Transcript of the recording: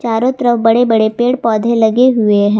चारों तरफ बड़े बड़े पेड़ पौधे लगे हुए हैं।